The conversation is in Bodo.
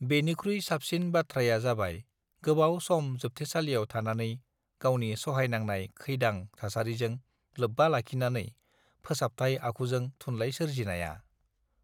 बेनिख्रुइ साबसिन बाथ्रायाजाबाय गोबाव सम जोबथेसालिआव थानानै गावनि सहायनांनाय खैदां थासारिजों लोबबा लाखिनानै फोसाबथाइ आखुजों थुनलाइ सोरजिनाया